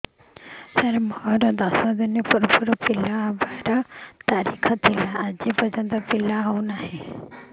ସାର ମୋର ଦଶ ଦିନ ପୂର୍ବ ପିଲା ପ୍ରସଵ ର ତାରିଖ ଥିଲା ଆଜି ଯାଇଁ ପିଲା ହଉ ନାହିଁ